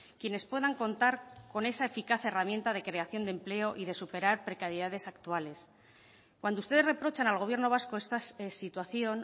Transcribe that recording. quienes puedan contar con esa eficaz herramienta de creación de empleo y de superar precariedades actuales cuando ustedes reprochan al gobierno vasco esta situación